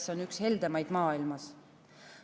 See on üks heldemaid maailmas.